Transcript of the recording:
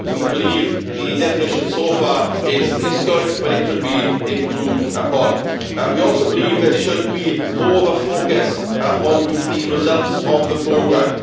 we believe the definition so far is good but it could be improved upon. We also believe there should be more of a focus on the results of the programme.